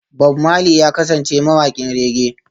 Bob Marley ya kasance mawaƙin reggae